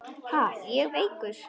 Ha, ég veikur!